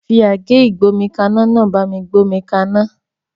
Fi àgé ìgbómikaná náà bá mi gbé omi kaná